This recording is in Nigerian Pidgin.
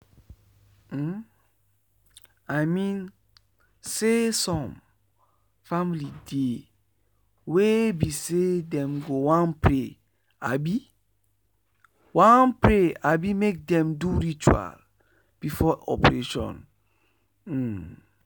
um i mean saysome family dey wey be say dem go wan pray abi wan pray abi make dem do ritual before operation. um